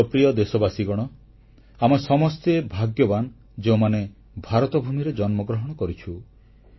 ମୋର ପ୍ରିୟ ଦେଶବାସୀଗଣ ଆମେ ସମସ୍ତେ ଭାଗ୍ୟବାନ ଯେଉଁମାନେ ଭାରତଭୂମିରେ ଜନ୍ମଗ୍ରହଣ କରିଛୁ